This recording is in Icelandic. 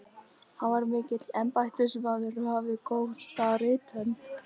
Hann var mikill embættismaður og hafði góða rithönd.